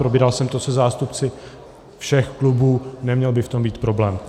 Probíral jsem to se zástupci všech klubů, neměl by v tom být problém.